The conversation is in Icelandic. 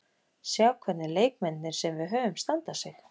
Sjá hvernig leikmennirnir sem við höfum standa sig.